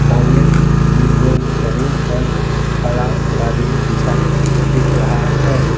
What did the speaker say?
सामने की ओर जमीन पर खड़ा कालीन बिछा दिख रहा है।